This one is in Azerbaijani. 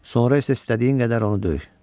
Sonra isə istədiyin qədər onu döy.